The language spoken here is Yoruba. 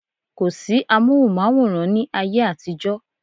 Kò sí amóhùnmáwòrán ní ayé àtijọ́